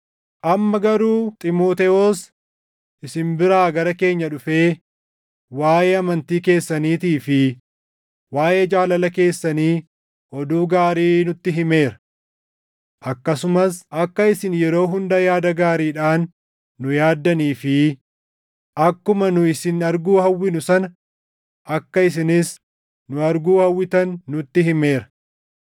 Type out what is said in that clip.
Amma garuu Xiimotewos isin biraa gara keenya dhufee waaʼee amantii keessaniitii fi waaʼee jaalala keessanii oduu gaarii nutti himeera. Akkasumas akka isin yeroo hunda yaada gaariidhaan nu yaaddanii fi akkuma nu isin arguu hawwinu sana akka isinis nu arguu hawwitan nutti himeera.